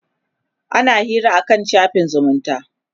ana Hira akan shafin zumunta